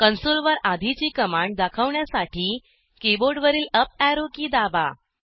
console वर आधीची command दाखवण्यासाठी कीबोर्डवरील अप एरो की दाबा